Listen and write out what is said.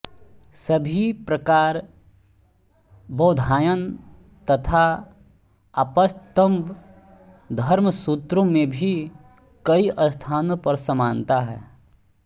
इसी प्रकार बौधायन तथा आपस्तम्ब धर्मसूत्रों में भी कई स्थानों पर समानता है